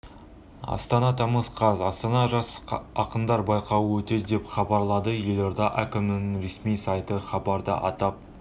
астана тамыз қаз астанада жас ақындар байқауы өтеді деп хабарлады елорда әкімінің ресми сайты хабарда атап